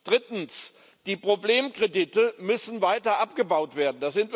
Drittens Die Problemkredite müssen weiter abgebaut werden.